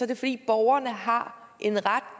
det fordi borgerne har en ret